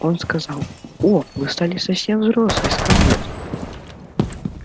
он сказал о вы стали совсем взрослой скарлетт